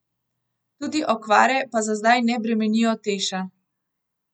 Tudi okvare pa za zdaj ne bremenijo Teša.